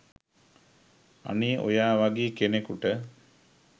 අනේ ඔයා වගේ කෙනෙකුට